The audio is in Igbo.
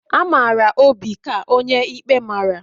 A mara Obi ka onye ikpe mara